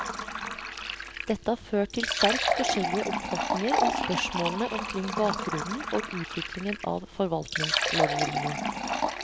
Dette har ført til sterkt forskjellige oppfatninger om spørsmålene omkring bakgrunnen og utviklingen av forvaltningslovgivningen.